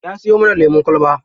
Ya siyo mana lemun kwalba.